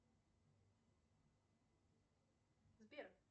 сбер